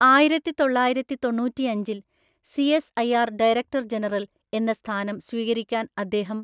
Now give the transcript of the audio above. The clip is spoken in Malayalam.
ആയിരത്തിതൊള്ളായിരത്തിതൊണ്ണൂറ്റിയഞ്ചില്‍ സി.എസ്.ഐ.ആര്‍. ഡയറക്ടർ ജനറൽ എന്ന സ്ഥാനം സ്വീകരിക്കാൻ അദ്ദേഹം